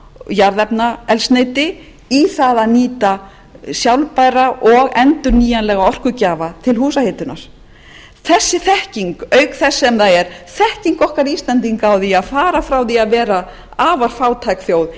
jarðefnaeldsneyti í það að nýta sjálfbæra og endurnýjanlega orkugjafa til húshitunar þessi þekking auk þess sem það er þekking okkar íslendinga á því að fara frá því að vera afar fátæk þjóð í